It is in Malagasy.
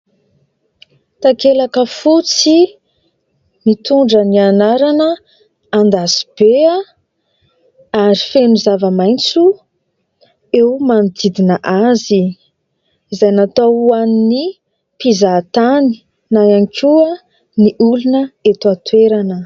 Takelaka fotsy mitondra ny anarana"Andasibe" ary feno zava-maitso eo manodidina azy izay natao ho an'ny mpizahatany na ihany koa ny olona eto an-toerana.